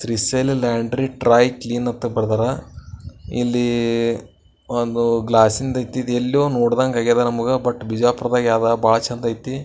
Trishail laundry dry clean ಅಂತ ಬರ್ದಾರ ಇಲ್ಲಿ ಒಂದು ಗ್ಲಾಸಿಂದ್ ಐತಿ ಇದೆಲ್ಲೋ ನೋಡ್ದಂಗ್ ಆಗದ ನಮ್ಗ ಬಟ್ ಬಿಜಾಪುರ್ದಾಗ್ ಯಾವ್ದ ಬಾಳ ಚಂದ ಐತಿ.